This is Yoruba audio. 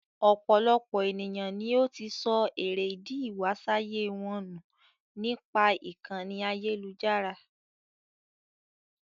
Ọ̀pọ̀lọpọ̀ èniyàn ni ó ti sọ èrè ídì ìwásáyé wọn ní nípa ìkànì ayélujára.